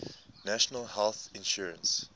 national health insurance